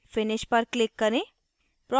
finish पर click करें